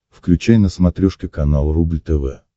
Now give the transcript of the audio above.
включай на смотрешке канал рубль тв